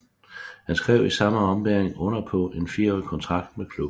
Han skrev i samme ombæring under på en fireårig kontrakt med klubben